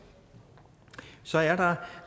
så er der